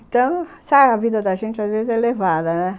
Então, sabe, a vida da gente às vezes é elevada, né?